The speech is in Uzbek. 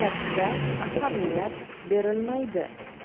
katta ahamiyat berilmaydi.